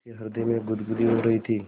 उसके हृदय में गुदगुदी हो रही थी